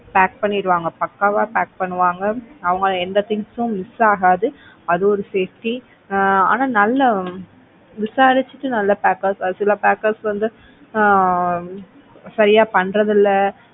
pack பண்ணிடுவாங்க பக்காவா pack பண்ணுவாங்க. அவங்க எந்த things உம் miss ஆகாது அது ஒரு safety ஆஹ் ஆனா நல்ல விசாரிச்சுட்டு நல்ல packers சில packers வந்து ஆஹ் சரியா பண்றது இல்ல.